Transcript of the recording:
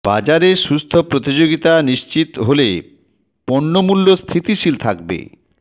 বাজারে সুস্থ প্রতিযোগিতা নিশ্চিত হলে পণ্য মূল্য স্থিতিশীল থাকবে